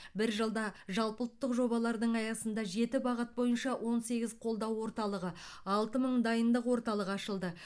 бір жылда жалпыұлттық жобалардың аясында жеті бағыт бойынша он сегіз қолдау орталығы алты мың дайындық орталығы ашылды